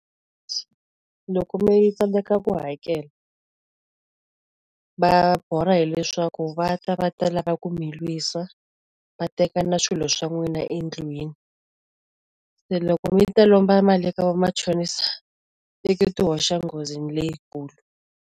Loko mi tsandeka ku hakela, va borha hileswaku va ta va ta lava ku mi lwisa, va teka na swilo swa n'wina endlwini. Se loko mi ta lomba mali eka vamachonisa i ku ti hoxa nghozini leyikulu.